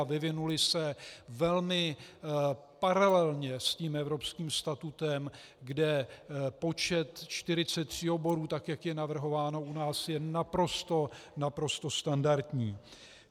A vyvinuly se velmi paralelně s tím evropským statutem, kde počet 43 oborů, tak jak je navrhováno u nás je naprosto, naprosto standardní.